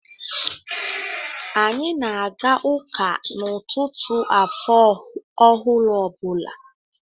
Anyị na aga ụka n'ụtụtụ afọ ọhụrụ ọ bụla.